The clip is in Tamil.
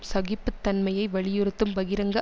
சகிப்புத்தன்மையை வலியுறுத்தும் பகிரங்க